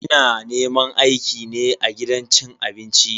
Ina neman aiki ne a gidan cin abinci.